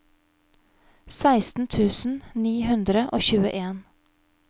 seksten tusen ni hundre og tjueen